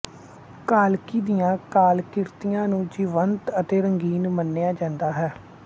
ਕਾਲਕੀ ਦੀਆਂ ਕਲਾਕ੍ਰਿਤੀਆਂ ਨੂੰ ਜੀਵੰਤ ਅਤੇ ਰੰਗੀਨ ਮੰਨਿਆ ਜਾਂਦਾ ਹੈ